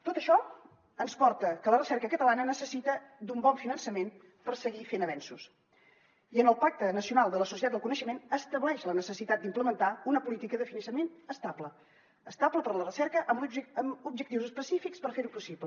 tot això ens porta que la recerca catalana necessita d’un bon finançament per seguir fent avenços i el pacte nacional per a la societat del coneixement estableix la necessitat d’implementar una política de finançament estable estable per a la recerca amb objectius específics per fer ho possible